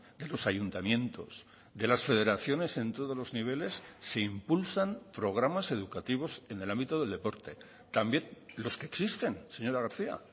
de los ayuntamientos de las federaciones en todos los niveles se impulsan programas educativos en el ámbito del deporte también los que existen señora garcía